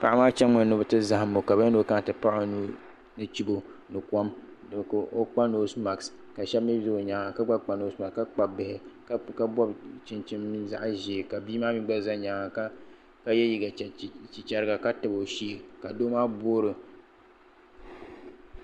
Paɣimaa chanimi ni biti zahimla. kabiyali. niokana tipaɣ. ɔnuu ni chibɔ. nikom. ka ɔ kpa nosemat. ka shab mi za. onyaaŋ kagba. kpa nosemat maa ka Kpab bihi ka bɔbi chinchini mini zaɣzee. kabi maa mi gba za nyaaŋa ka. ye liiga chichariga. katab o shee. ka doo maa bɔɔro